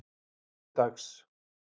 þriðjudags